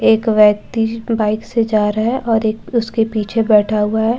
एक व्यक्ति बाइक से जा रहा है और एक उसके पीछे बैठा हुआ है जिस--